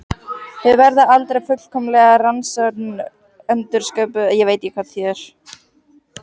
Þau verða aldrei fullkomlega raunsönn endursköpun raunveruleikans.